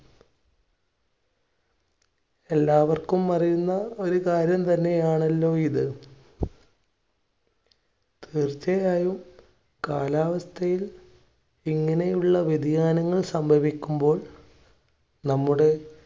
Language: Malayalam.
എല്ലാവർക്കും അറിയുന്ന ഒരു കാര്യം തന്നെയാണല്ലോ ഇത്. തീർച്ചയായും കാലാവസ്ഥയിൽ ഇങ്ങനെയുള്ള വ്യതിയാനങ്ങൾ സംഭവിക്കുമ്പോൾ നമ്മുടെ